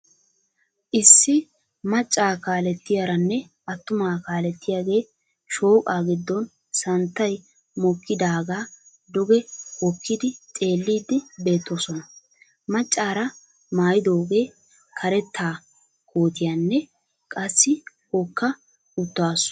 issi macca kaalettiyaaranne attuma kaalettiyaage shooqaa giddon santtay mokkidaagaa duge hookidi xeelliidi beetoosona. macaara maayidooge kareta koottiyanne qassi hookka utaasu.